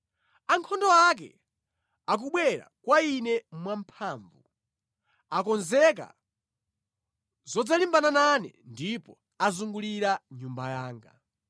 Ankhondo ake akubwera kwa ine mwamphamvu, akonzekera zodzalimbana nane ndipo azungulira nyumba yanga.